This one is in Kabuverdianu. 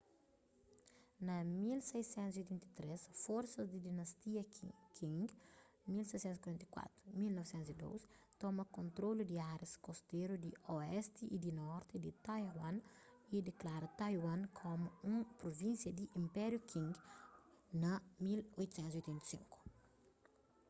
na 1683 forsas di dinástia qing 1644-1912 toma kontrolu di árias kosteru di oesti y di norti di taiwan y diklara taiwan komu un pruvínsia di inpériu qing na 1885